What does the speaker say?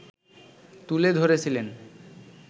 তুলে ধরেছিলেন